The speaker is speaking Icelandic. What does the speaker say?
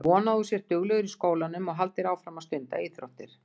Ég vona að þú sért duglegur í skólanum og haldir áfram að stunda íþróttir.